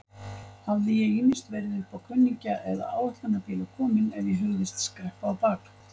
Hafði ég ýmist verið uppá kunningja eða áætlunarbíla kominn ef ég hugðist skreppa á bak.